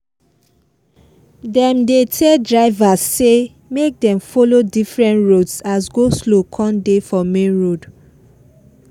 dem dey tell drivers say make them follow different roads as go-slow come dey for main road